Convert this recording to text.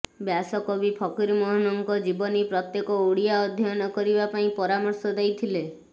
ବ୍ୟାସକବି ଫକୀରମୋହନଙ୍କ ଜୀବନୀ ପ୍ରତ୍ୟେକ ଓଡ଼ିଆ ଅଧ୍ୟୟନ କରିବା ପାଇଁ ପରାମର୍ଶ ଦେଇଥିଲେ